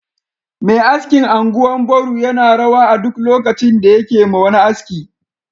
Mai askin anguwan Boru yana rawa a duk lokaci da yakema wani aski